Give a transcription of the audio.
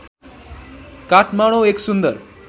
काठमाडौँ एक सुन्दर